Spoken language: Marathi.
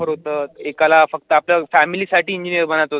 grapher होतं, एकाला फक्त आपल्या family साठी engineer बनायचं होतं.